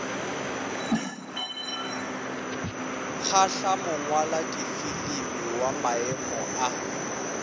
kgahla mongwaladifilimi wa maemo a